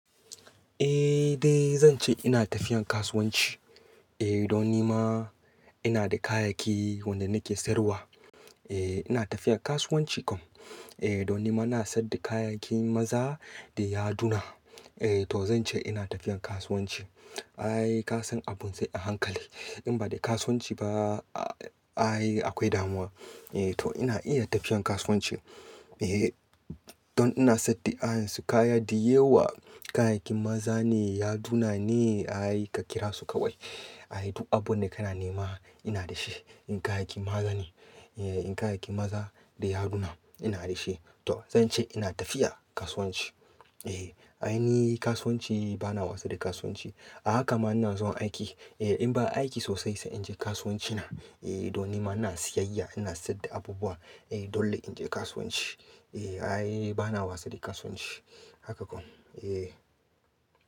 Eh dai zan ce ina tafiyan kasuwanci. Eh don nima ina da kayayyaki wanda nake sayarwa. Eh ina tafiyan kasuwanci kom. Eh don nima ina saida kayayyakin maza da yaduna. Eh to zan ce ina tafiyan kasuwanci. Ai kasan abun sai a hankali. In ba da kasuwanci ba a-a-ai akwai damuwa. Eh to ina iya tafiyan kasuwanci. Eh don ina saida ayan su kaya dayewa, kayayyakin maza ne, yaduna ne. Ai ka kira su kawai. Ai duk abun da kana nema ina da shi. Irin kayayyakin maga ni, eh irin kayayyakin maza da yaduna ina da shi. To zan ce ina tafiya kasuwanci. Eh ai ni kasuwanci bana wasa da kasuwanci. A haka ma ina zuwa aiki. Eh in ba aiki sosai sa inje kasuwanci na. Eh don nima ina siyayya ina saida abubuwa. Eh dole inji kasuwanci. Eh ai ni bana wasa da kasuwanci haka kom. Eh.